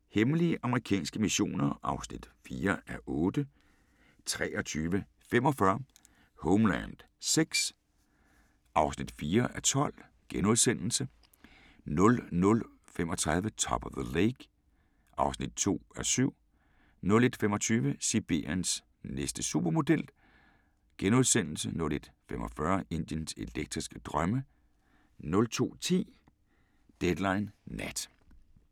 23:00: Hemmelige amerikanske missioner (4:8) 23:45: Homeland VI (4:12)* 00:35: Top of the Lake (2:7) 01:25: Sibiriens næste supermodel * 01:45: Indiens elektriske drømme 02:10: Deadline Nat